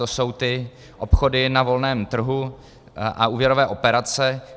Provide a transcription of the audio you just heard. To jsou ty obchody na volném trhu a úvěrové operace.